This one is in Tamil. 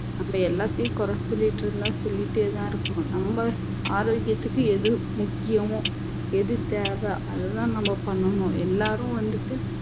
நம்ம எல்லாத்தையும் குறை சொல்லிட்டு இருந்தா சொல்லிட்டே தான் இருக்கணும் நம்ம ஆரோக்கியத்துக்கு எது முக்கியம் எது தேவை அதுதான் நம்ம பண்ணணும் எல்லாரும் வந்துட்டு